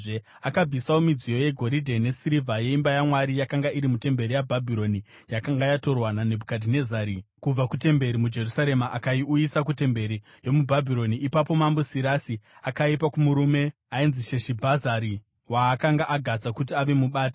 Akabvisawo midziyo yegoridhe nesirivha yeimba yaMwari yakanga iri mutemberi yeBhabhironi, yakanga yatorwa naNebhukadhinezari kubva kutemberi muJerusarema akaiuyisa kutemberi yomuBhabhironi. “Ipapo mambo Sirasi akaipa kumurume ainzi Sheshibhazari, waakanga agadza kuti ave mubati,